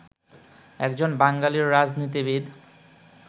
একজন বাঙালি রাজনীতিবিদ